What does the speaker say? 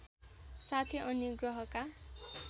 साथै अन्य ग्रहका